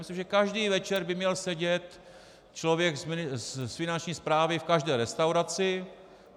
Myslím, že každý večer by měl sedět člověk z Finanční správy v každé restauraci.